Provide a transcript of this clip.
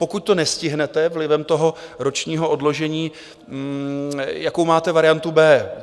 Pokud to nestihnete vlivem toho ročního odložení, jakou máte variantu B?